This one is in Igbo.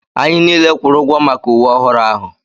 Anyị niile kwụrụ ụgwọ maka uwe ọhụrụ ahụ.